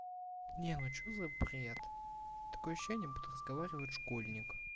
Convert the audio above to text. не ну что за бред такое ощущение будто разговаривает школьник